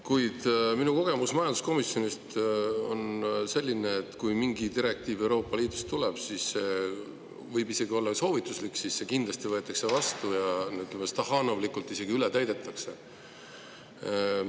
Kuid minu kogemus majanduskomisjonist on selline, et kui mingi direktiiv Euroopa Liidust tuleb, siis see võib olla isegi soovituslik, aga see võetakse kindlasti vastu ja stahhaanovlikult isegi ületäidetakse seda.